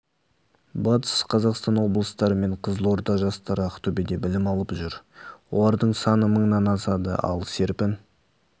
батыс қазақстан облыстары мен қызылорда жастары ақтөбеде білім алып жүр олардың саны мыңнан асады ал серпін